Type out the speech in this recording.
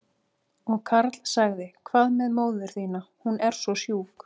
Og Karl sagði, hvað með móður þína, hún er svo sjúk?